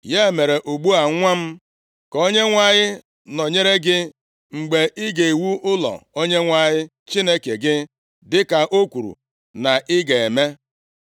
“Ya mere, ugbu a nwa m, ka Onyenwe anyị nọnyere gị mgbe ị ga-ewu ụlọ Onyenwe anyị Chineke gị, dịka o kwuru na ị ga-eme.